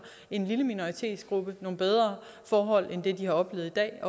en lille minoritetsgruppe nogle bedre forhold end dem de oplever i dag